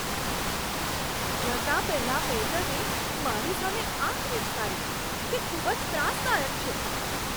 જતા પહેલાં વેઈટરે મારી સામે આંખ મીંચકારી. તે ખૂબ જ ત્રાસદાયક છે.